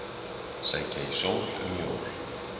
Sækja í sól um jól